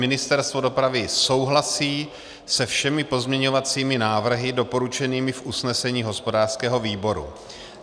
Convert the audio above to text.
Ministerstvo dopravy souhlasí se všemi pozměňovacími návrhy doporučenými v usnesení hospodářského výboru.